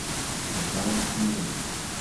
Zakaj, ne vem.